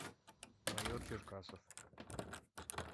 майор черкасов